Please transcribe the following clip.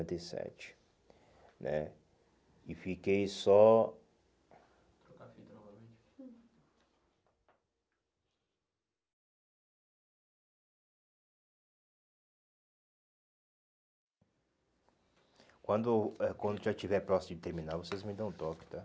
noventa e sete né. E fiquei só... Quando eh quando já estiver próximo de terminar, vocês me dão o toque, tá?